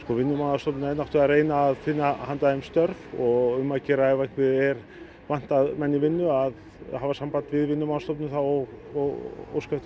Vinnumálastofnun er að reyna að finna handa þeim störf og um að gera ef einhvern vantar menn í vinnu að hafa samband við Vinnumálastofnun og óska eftir